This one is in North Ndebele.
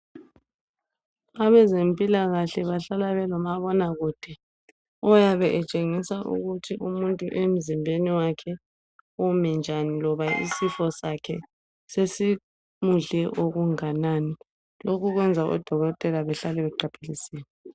Abezempilakahle bahlala belomabonakude oyabe etshengisa ukuthi umuntu emzimbeni wakhe umi njani loba isifo sakhe sesimudle okunganani lokhu kwenza odokotela behlale beqaphelisile